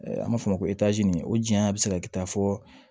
An b'a fɔ o ma ko o janya bɛ se ka kɛ ta fɔ